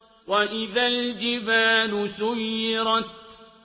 وَإِذَا الْجِبَالُ سُيِّرَتْ